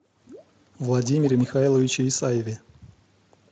владимире михайловиче исаеве